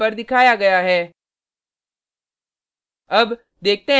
output terminal पर दिखाया गया है